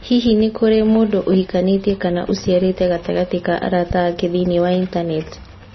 Hihi nĩ kũrĩ mũndũ ũhikanĩtie kana ũciarĩte gatagatĩ ka arata ake thĩinĩ wa Intaneti?